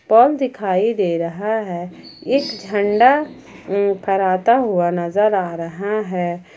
पोल दिखाई दे रहा है एक झंडा उ फ़राता हुआ नजर आ रहा है।